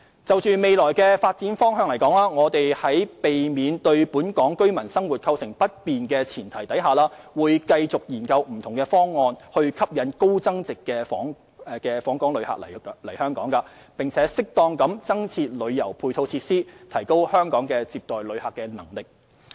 就未來發展方向而言，我們在避免對本港居民生活構成不便的前提下，會繼續研究不同方案以吸引高增值訪客來港，並適當增設旅遊配套設施，提高香港接待旅客的能力。